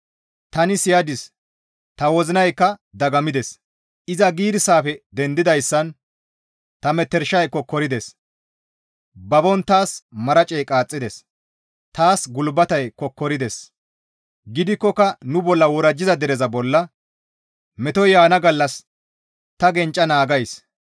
Tani siyadis; ta wozinaykka dagammides; Iza giirssafe dendidayssan ta metershay kokkorides. Babon taas maracey qaaxxides. Taas gulbatey kokkorides; gidikkoka nu bolla worajjiza dereza bolla metoy yaana gallas ta gencca naagays.